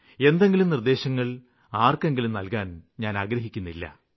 എന്തെങ്കിലും ഉപദേശങ്ങള് ആര്ക്കെങ്കിലും നല്കാന് ഞാന് ആഗ്രഹിക്കുന്നില്ല